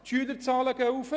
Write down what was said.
Die Schülerzahlen steigen.